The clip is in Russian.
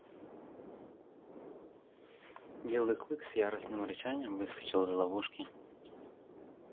белый клык с яростным рычанием выскочил из ловушки